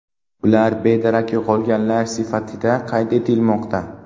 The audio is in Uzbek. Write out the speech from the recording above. Ular bedarak yo‘qolganlar sifatida qayd etilmoqda.